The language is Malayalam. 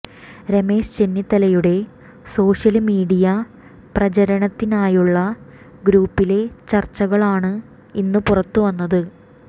രമേശ് ചെന്നിത്തലയുടെ സോഷ്യല് മീഡിയ പ്രചരണത്തിനായുള്ള ഗ്രൂപ്പിലെ ചര്ച്ചകളാണ് ഇന്ന് പുറത്തുവന്നത്